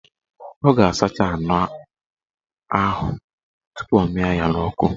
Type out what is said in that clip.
Ọ ga-asacha anụ ahụ tupu ọ mịa ya n'ọkụ